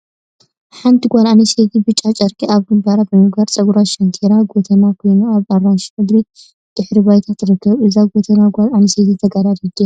ሓንቲ ጓል አንስተይቲ ብጫ ጨርቂ አብ ግንባራ ብምግባር ፀጉራ ሸንቲራ ጎተና ኮይና አብ አራንሺ ሕብሪ ድሕረ ባይታ ትርከብ፡፡ እዛ ጎተና ጓል አንስተይቲ ተጋዳሊት ድያ?